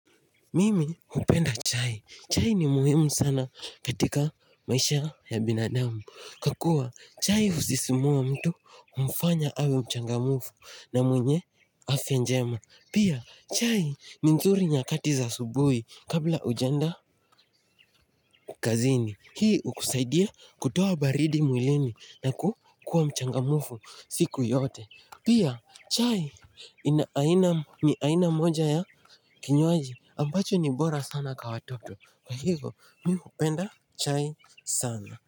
Mimi hupenda chai, chai ni muhimu sana katika maisha ya binadamu Kwa kuwa chai husisimua mtu humfanya awe mchangamufu na mwenye afya njema Pia chai ni nzuri nyakati za asubuhi kabla ujaenda kazini Hii hukusaidia kutoa baridi mwilini na kukua mchangamufu siku yote Pia chai ni aina moja ya kinywaji ambacho ni bora sana kwa watoto kwa hivo mi hupenda chai sana.